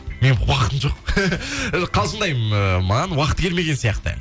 менің уақытым жоқ қалжыңдаймын маған уақыты келмеген сияқты